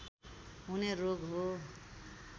हुने रोग हो